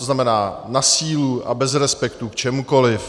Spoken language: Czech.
To znamená na sílu a bez respektu k čemukoliv.